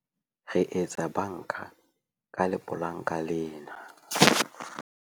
re etsa banka ka lepolanka lena